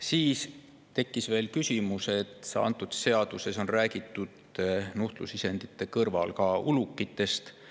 Siis tekkis veel küsimus selle kohta, et seadus on räägitud nuhtlusisendite kõrval ka ulukitest.